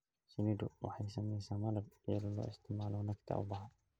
Shinnidu waxay samaysaa malab iyadoo la isticmaalayo nectar ubaxa.